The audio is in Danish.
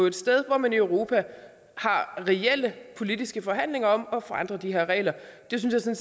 et sted hvor man i europa har reelle politiske forhandlinger om at forandre de her regler det synes jeg